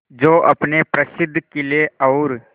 जो अपने प्रसिद्ध किले और